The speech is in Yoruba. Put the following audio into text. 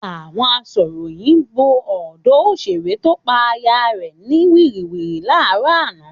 Àwọn asọ̀ròyìn bo ọ̀dọ òṣèré tó pa aya rẹ̀ wìtìwìtì láàárọ̀ àná.